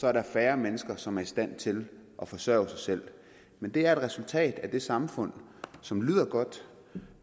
er der færre mennesker som er i stand til at forsørge sig selv det er et resultat af det samfund som lyder godt